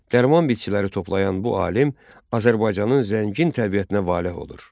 Dərman bitkiləri toplayan bu alim Azərbaycanın zəngin təbiətinə valeh olur.